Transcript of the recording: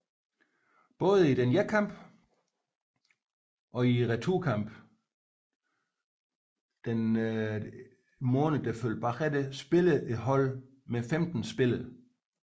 Både i denne kamp og i returnkampen den følgende måned spillede holdene med 15 spillere